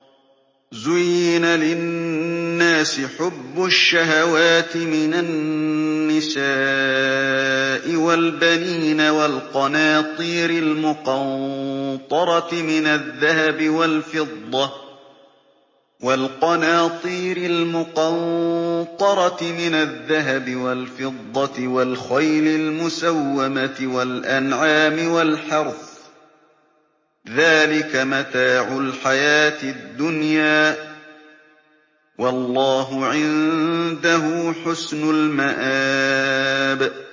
زُيِّنَ لِلنَّاسِ حُبُّ الشَّهَوَاتِ مِنَ النِّسَاءِ وَالْبَنِينَ وَالْقَنَاطِيرِ الْمُقَنطَرَةِ مِنَ الذَّهَبِ وَالْفِضَّةِ وَالْخَيْلِ الْمُسَوَّمَةِ وَالْأَنْعَامِ وَالْحَرْثِ ۗ ذَٰلِكَ مَتَاعُ الْحَيَاةِ الدُّنْيَا ۖ وَاللَّهُ عِندَهُ حُسْنُ الْمَآبِ